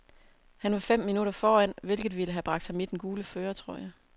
Han var fem minutter foran, hvilket ville have bragt ham i den gule førertrøje.